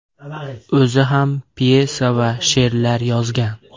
O‘zi ham pyesa va she’rlar yozgan.